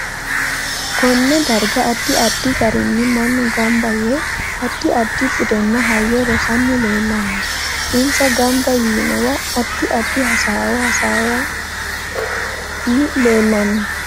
KOnne darga addi addi garinni mannu ganbba yee addi addi buddenna hayyo rossani leelanno insa ganba yiinowa addi addi hasaawo assani leelanno